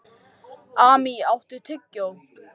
Amý, áttu tyggjó?